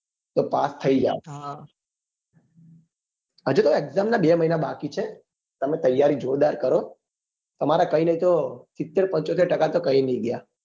તો પાસ થઇ જાઓ હજુ તો exam નાં બે મહિના બાકી છે તમે તૈયારી જોરદાર કરો તમાતે કઈ નહિ તો સિત્તેર પંચોતેર ટકા તો ક્યાય નહિ ગયા